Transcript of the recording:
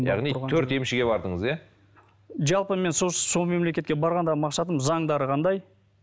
яғни төрт емшіге бардыңыз иә жалпы мен сол мемлекетке барғандағы мақсатым заңдары қандай